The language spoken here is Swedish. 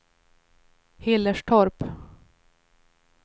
Hillerstorp